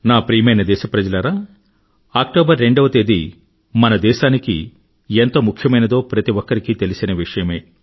నా ప్రియమైన దెశప్రజలారా అక్టోబర్ రెండవ తేదీ మన దేశానికి ఎంత ముఖ్యమైనదో ప్రతి ఒక్కరికీ తెలిసిన విషయమే